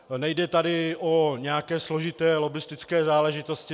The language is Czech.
Nejde tady o nějaké složité lobbistické záležitosti.